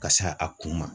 Ka se a kun ma